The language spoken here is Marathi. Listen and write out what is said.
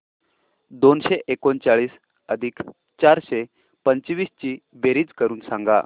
दोनशे एकोणचाळीस अधिक चारशे पंचवीस ची बेरीज करून सांगा